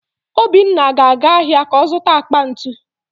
Obinna ga-eje ahịa ka ọ zụta akpa ntu